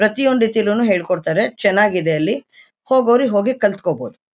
ಪ್ರತಿಯೊಂದ್ ರೀತಿಲು ಹೇಳ್ಕೊಡ್ತಾರೆ ಚೆನಾಗಿದೆ ಅಲ್ಲಿ ಹೋಗೋರು ಹೋಗಿಕಲ್ಕೋಬೋದು.